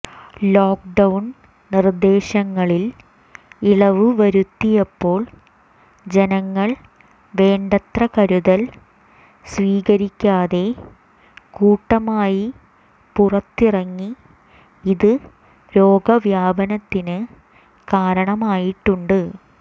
lockdown നിർദ്ദേശങ്ങളിൽ ഇളവ് വരുത്തിയപ്പോൾ ജനങ്ങൾ വേണ്ടത്ര കരുതൽ സ്വീകരിക്കാതെ കൂട്ടമായി പുറത്തിറങ്ങി ഇത് രോഗവ്യാപനത്തിന് കാരണമായിട്ടുണ്ട്